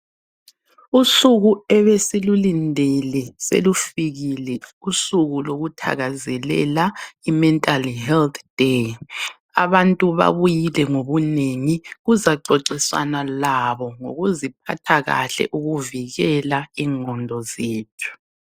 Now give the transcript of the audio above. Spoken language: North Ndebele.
Usuku ebesilulindele selufikile, usuku lokuthakazelela i-Mental Health Day. Abantu babuyile ngobunengi, kuzaxoxiswana labo ngokuziphatha kahle ukuvikela ingqondo zethu.